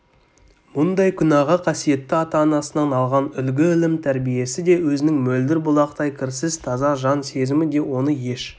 мұндай күнәға қасиетті ата-анасынан алған үлгі-ілім тәрбиесі де өзінің мөлдір бұлақтай кірсіз таза жан сезімі де оны еш